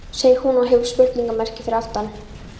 segir hún, og hefur spurningarmerki fyrir aftan.